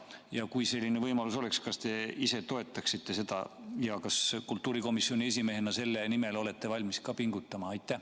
Ja kui selline võimalus oleks, kas te ise toetaksite seda ja kas olete kultuurikomisjoni esimehena selle nimel valmis ka pingutama?